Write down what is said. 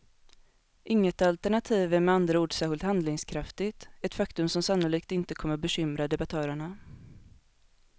Inget alternativ är med andra ord särskilt handlingskraftigt, ett faktum som sannolikt inte kommer bekymra debattörerna.